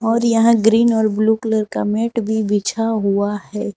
और यहाँ ग्रीन और ब्लू कलर का मैट भी बिछा हुआ है।